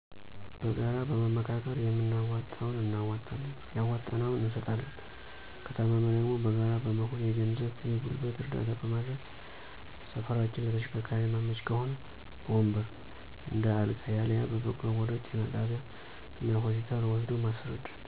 በጋራ በመመካከር የምናዋጣውን እናዋጠለን ያዋጣነውን እንሰጣለን። ከታመመ ደግሞ በጋራ በመሆን የገንዘብ የገልበት እረዳታ በመደረግ ሰፈራችን ለተሸከርካሪ የመይመች ከሆ በወንበር፣ እንደ አልጋ፣ ያልየ በበቅሉ ወደ ጤና ጣቢያ እና ሆስፒታ ወሰዶ ማሰረዳት።